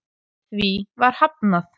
Því var hafnað